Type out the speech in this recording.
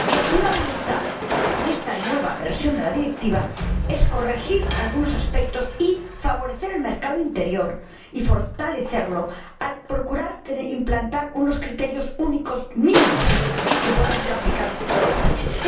Y, por tanto, una voluntad de esta nueva versión de la Directiva es corregir algunos aspectos y favorecer el mercado interior y fortalecerlo, al procurar implantar unos criterios únicos mínimos, que puedan ser aplicables en todos los países.